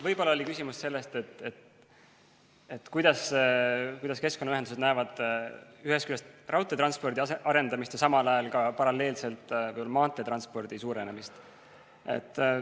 Võib-olla oli küsimus sellest, kuidas keskkonnaühendused näevad ühest küljest raudteetranspordi arendamist ja samal ajal ka paralleelselt maanteetranspordi suurenemist.